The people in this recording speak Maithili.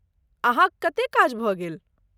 अहाँक कतेक काज भऽ गेल?